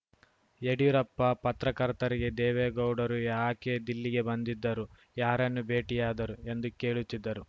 ಯಡಿಯೂರಪ್ಪ ಪತ್ರಕರ್ತರಿಗೆ ದೇವೇಗೌಡರು ಯಾಕೆ ದಿಲ್ಲಿಗೆ ಬಂದಿದ್ದರು ಯಾರನ್ನು ಭೇಟಿಯಾದರು ಎಂದು ಕೇಳುತ್ತಿದ್ದರು